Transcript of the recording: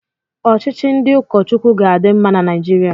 Ọchịchị ndị ụkọ Chukwu ga-adị mma na Naijiria.